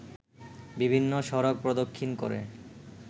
বিভিন্ন সড়ক প্রদক্ষিণ করে